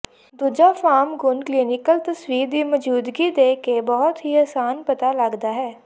ਦੂਜਾ ਫਾਰਮ ਗੁਣ ਕਲੀਨਿਕਲ ਤਸਵੀਰ ਦੀ ਮੌਜੂਦਗੀ ਦੇ ਕੇ ਬਹੁਤ ਹੀ ਆਸਾਨ ਪਤਾ ਲੱਗਦਾ ਹੈ